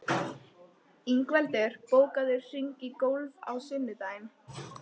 Ingveldur, bókaðu hring í golf á sunnudaginn.